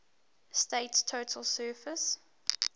state's total surface